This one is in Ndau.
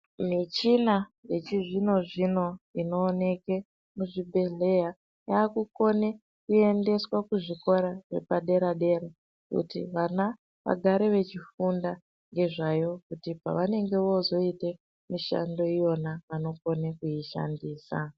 Michina yechizvinozvino inoonekwe muzvibhehleya, yaakukone kuendeswa kuzvikora zvepadera-dera kuti vana vechifunda ngezvayo kuti pavanenge voozoite mishando iyona vanokona kuishandisa.